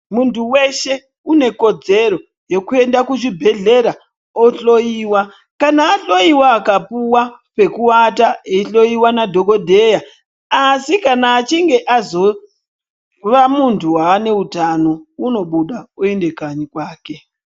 Muntu weshe unekodzero yekuenda kuchibhedhlera ohloyiwa, kana ahloyiwa akapuwaa pekuaata, eihloyiwa nadhokodheya, asi kana achinge azova muntu waa neutano unobuda oende kanyi kwake.